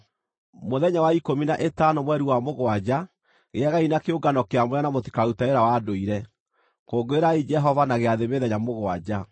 “ ‘Mũthenya wa ikũmi na ĩtano mweri wa mũgwanja, gĩagai na kĩũngano kĩamũre na mũtikarute wĩra wa ndũire. Kũngũĩrai Jehova na gĩathĩ mĩthenya mũgwanja.